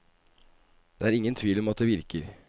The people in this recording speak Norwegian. Det er ingen tvil om at det virker.